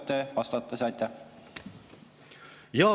Kui oskate, siis võite vastata.